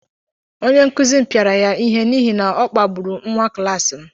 Onye nkụzi m pịara ya ihe n’ihi na ọ kpagburu nwa klaasị m